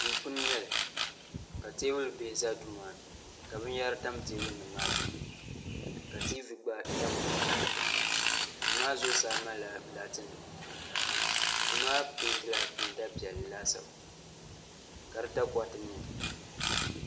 duu puuni n nyɛli ka teebuli bihi ʒɛ duu maa ni ka binyahari tam teebuli maa zuɣu ka tiivi gba tabi duu maa dikpuni duu maa zuɣusaa malila laati nima duu maa peentila peenta piɛlli laasabu ka di takoriti niɛ